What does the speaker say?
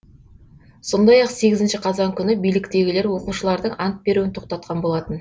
сондай ақ сегізінші қазан күні биліктегілер оқушылардың ант беруін тоқтатқан болатын